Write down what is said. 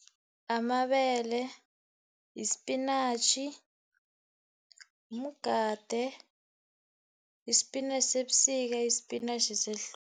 Amabele, yispinatjhi, mgade, yispinatjhi sebusika, yispinatjhi sehlobo